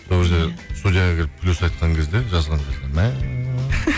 сол кезде студияға келіп плюс айтқан кезде жазған кезде мә